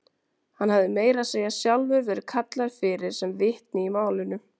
Hann hafði meira að segja sjálfur verið kallaður fyrir sem vitni í málinu.